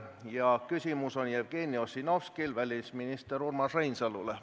Jevgeni Ossinovskil on küsimus välisminister Urmas Reinsalule.